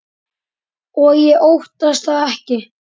Og ég óttast það ekki.